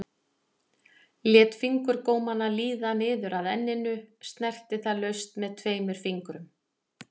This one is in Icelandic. Lét fingurgómana líða niður að enninu, snerti það laust með tveimur fingrum.